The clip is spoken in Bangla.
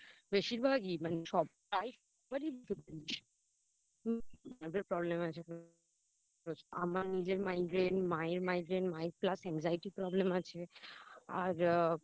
বেশিরভাগেই প্রায় সবারই Nerve এর Problem আছে আমার নিজের Migraine মায়ের Migraine Plus মায়ের Angxiety Problem আছে